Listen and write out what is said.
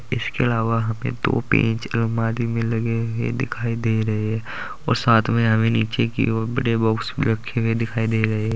इसके अलावा वहाँ पे दो पेंच अलमारी में लगे हुए दिखाई दे रहे और साथ में हमें नीचे की ओर बड़े बॉक्स रखे हुए दिखाई दे रहे।